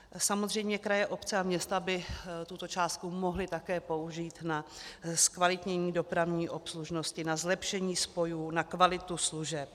Samozřejmě kraje, obce a města by tuto částku mohly také použít na zkvalitnění dopravní obslužnosti, na zlepšení spojů, na kvalitu služeb.